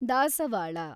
ದಾಸವಾಳ